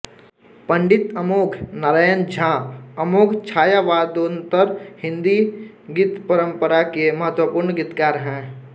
पंडित अमोघ नारायण झा अमोघ छायावादोत्तर हिंदी गीतपरम्परा के महत्वपूर्ण गीतकार हैं